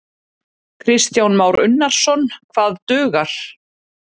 Kristján Már Unnarsson: Hvað dugar?